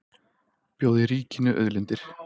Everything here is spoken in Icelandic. Bjóði ríkinu auðlindirnar